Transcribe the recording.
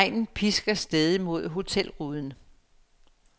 Regnen pisker stædigt mod hotelruden.